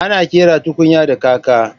Ana ƙera tukunya da kaka